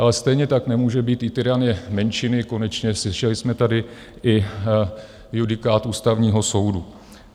Ale stejně tak nemůže být i tyranie menšiny - konečně slyšeli jsme tady i judikát Ústavního soudu.